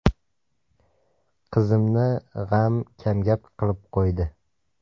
Qizimni g‘am kamgap qilib qo‘ydi.